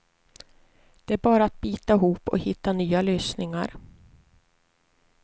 Det är bara att bita ihop och hitta nya lösningar.